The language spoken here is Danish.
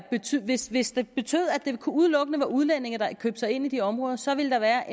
hvis hvis det betød at det udelukkende var udlændinge der købte sig ind i de områder så ville der være